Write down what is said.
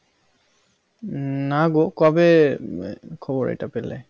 না গো কবে খবর এটা পেলে?